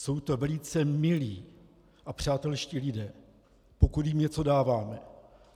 Jsou to velice milí a přátelští lidé, pokud jim něco dáváme.